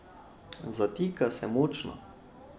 Zatika se močno.